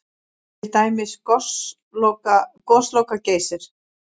Til dæmis Gosloka-Geysir?